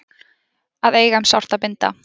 Að eiga um sárt að binda